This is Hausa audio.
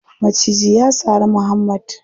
Maciji ya sari muhammad.